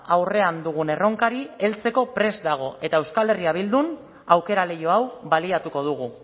aurrean dugun erronkari heltzeko prest dago eta euskal herria bildun aukera leiho hau baliatuko dugu